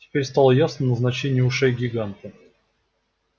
теперь стало ясно и назначение ушей гиганта